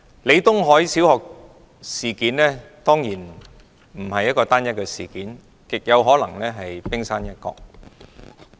李東海小學的事件當然不是單一事件，而極可能只是冰山一角。